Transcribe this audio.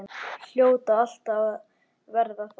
Hljóta alltaf að verða það.